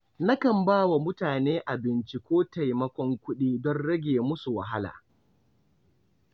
Nakan ba wa mutane abinci ko taimakon kuɗi don rage musu wahala.